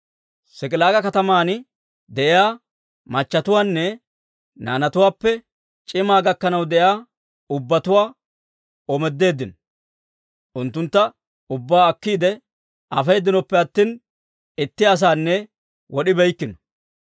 S'ik'ilaaga kataman de'iyaa machatuwaanne naanatuwaappe c'imaa gakkanaw de'iyaa ubbatuwaa omoodeeddino; unttuntta ubbaa akkiide afeedinoppe attina, itti asanne wod'ibeykkino.